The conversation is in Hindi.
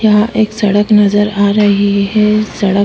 यहाँ एक सड़क नज़र आ रही है सड़क --